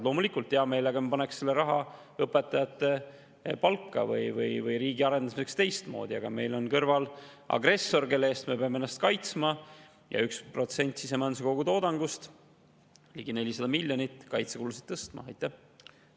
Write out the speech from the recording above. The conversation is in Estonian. Loomulikult paneksime hea meelega selle raha õpetajate palka või teistmoodi riigi arendamisse, aga meil on kõrval agressor, kelle eest me peame ennast kaitsma, ja tõstma kaitsekulusid 1% võrra sisemajanduse kogutoodangust, see on ligi 400 miljonit.